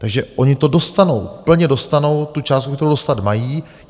Takže oni to dostanou, plně dostanou tu částku, kterou dostat mají.